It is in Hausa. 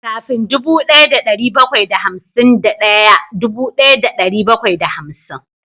Kafin dubu daya da dari bakwai da hamsin daya dubu daya da dari bakwai da hamsin